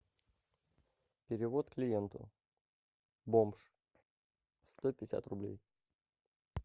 перевод клиенту бомж сто пятьдесят рублей